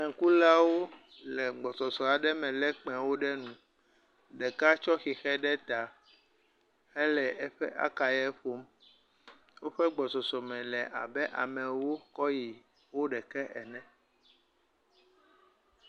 Kpẽkulawo le gbɔsɔsɔ aɖe me lé kpẽ ɖe nu, ɖeka tsɔ xexio ɖe ta hele eƒe akaye ƒom woƒe gbɔsɔsɔ me la abe ewo kɔ yi wuiɖekɛ ene.